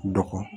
Dɔgɔkun